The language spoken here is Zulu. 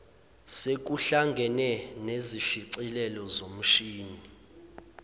sekuhlangene nezishicilelo zomshini